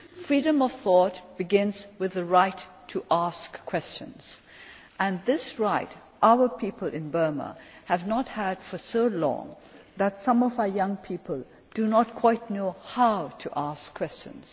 Freedom of thought begins with the right to ask questions, and our people in Burma have not had this right for so long that some of our young people do not quite know how to ask questions.